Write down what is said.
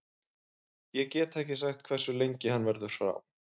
Ég get ekki sagt hversu lengi hann verður frá.